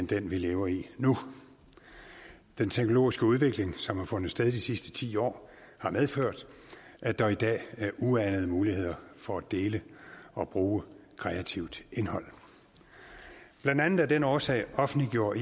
den vi lever i nu den teknologiske udvikling som har fundet sted i de sidste ti år har medført at der i dag er uanede muligheder for at dele og bruge kreativt indhold blandt andet af den årsag offentliggjorde